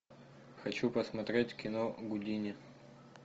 хочу посмотреть кино гудини